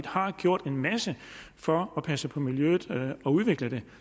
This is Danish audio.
har gjort en masse for at passe på miljøet og udvikle det